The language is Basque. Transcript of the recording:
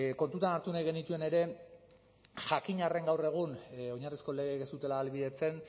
kontuan hartu nahi genituen ere jakin arren gaur egun oinarrizko legeek ez zutela ahalbidetzen